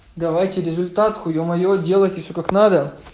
давайте результат хуё моё делайте всё как надо